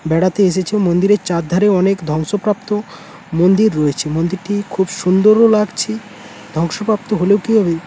বেড়াতে এসেছে মন্দিরের চার ধারে অনেক ধ্বংসপ্রাপ্ত মন্দির রয়েছে মন্দিরটি খুব সুন্দরও লাগছে। ধ্বংসপ্রাপ্ত হলেও কিহবে--